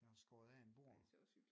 Jeg har skåret af en bord